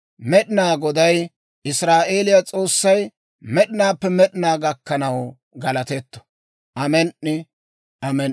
Med'inaa Goday, Israa'eeliyaa S'oossay, med'inaappe med'inaa gakkanaw galatetto. Amen"i. Amen"i.